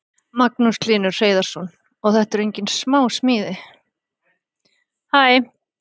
Magnús Hlynur Hreiðarsson: Og þetta eru engin smá smíði?